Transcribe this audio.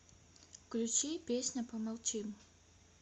включи песня помолчим